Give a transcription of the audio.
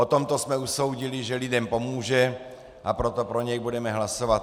O tomto jsme usoudili, že lidem pomůže, a proto pro něj budeme hlasovat.